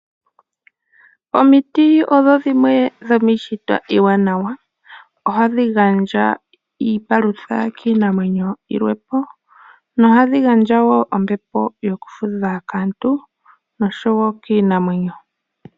Omiiti odho dhimwe dhomiishitwa iwanawa. Ohadhi gandja iipalutha kiinamwenyo yilwe po nohadhi gandja wo ombepo yoku fudha kaantu noshowo kiinamwenyo.